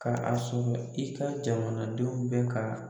Ka a sɔrɔ i ka jamana denw bɛ ka